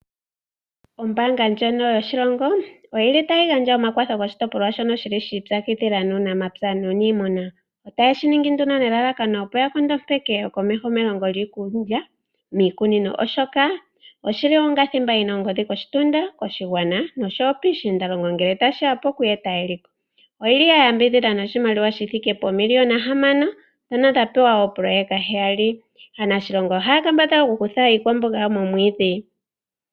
Ombanga ndjono yoshilongo oyili tayi gandja omakwatho goshitopolwa shono shili shi ipyakidhila nuunamapya nunimuna, otayeshiningi nduno nelalakano opo ya nkondopeke komeho melongo lyiikulya miikunino oshoka oshili onga thimba yina ongodhi koshitunda koshigwana noshowoo koshigwana nosho woo piishindalongo nge tashiya poku eta eliko. Oyili ya yambidhidhanoshimaliwa shithike poomiliyona hamano dhono dhapewa oopololeka dhili heyali. Aanashilongo ohaya kambadhala oku kutha iikwamboga yawo momwidhi.